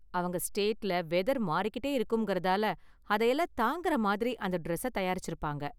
அவங்க ஸ்டேட்ல வெதர் மாறிட்டே இருக்கும்றதால அதையெல்லாம் தாங்குற மாதிரி அந்த டிரஸ்ஸ தயாரிச்சுருப்பாங்க.